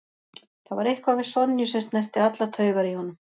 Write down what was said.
Það var eitthvað við Sonju sem snerti allar taugar í honum.